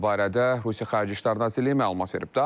Bu barədə Rusiya Xarici İşlər Nazirliyi məlumat verib.